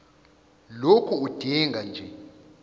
lokhu udinga nje